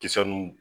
Kisɛ nu